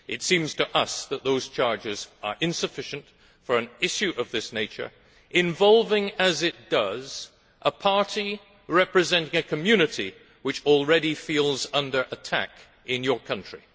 It seems to us that those charges are insufficient for an issue of this nature, involving as it does a party representing a community which already feels under attack in your country.